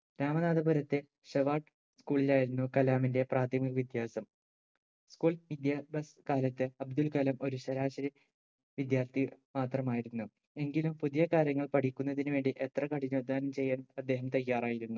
രാമനാഥപുരത്തെ Schwartz school ലായിരുന്നു കലാമിന്റെ പ്രാഥമിക വിദ്യാസം School വിദ്യാഭ്യാസ കാലത്ത് അബ്ദുൽ കലാം ഒരു ശരാശരി വിദ്യാർത്ഥി മാത്രമായിരുന്നു എങ്കിലും പുതിയ കാര്യങ്ങൾ പഠിക്കുന്നതിന് വേണ്ടി എത്ര കഠിനാധ്വാനം ചെയ്യാനും അദ്ദേഹം തയ്യാറായിരുന്നു